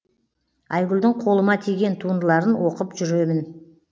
айгүлдің қолыма тиген туындыларын оқып жүремін